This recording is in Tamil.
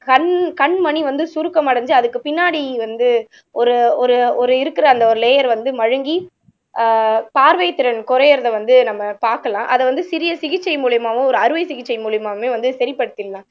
கண் கண்மணி வந்து சுருக்கமடைஞ்சு அதுக்கு பின்னாடி வந்து ஒரு ஒரு ஒரு இருக்கிற அந்த ஒரு லேயர் வந்து மழுங்கி ஆஹ் பார்வைத்திறன் குறையறதை வந்து நம்ம பார்க்கலாம் அத வந்து சிறிய சிகிச்சை மூலியமாவும் ஒரு அறுவை சிகிச்சை மூலியமாவுமே வந்து சரிப்படுத்திடலாம்